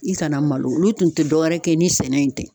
I kana malo olu tun tɛ dɔwɛrɛ kɛ ni sɛnɛ in tɛ.